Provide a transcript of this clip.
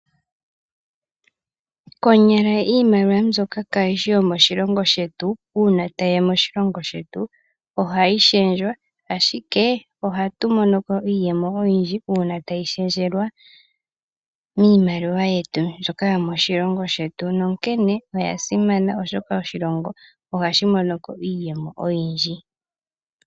Konyala iimaliwa mbyoka kayishi yomoshilongo shetu, tayiya moshilongo shetu, ohayi shendjwa, ashike ohatumonoko iiyemo oyindji, uuna tayi shendjelwa miimaliwa yetu mbyoka yomoshilongo shetu, nonkene oya simana, oshoka oshilongo ohashi monoko iiyemo oyindji.